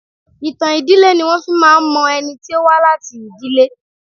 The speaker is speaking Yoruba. Ìtàn ìdílé ni wọ́n fi máa ń mọ ẹni tí ó wá láti ìdílé.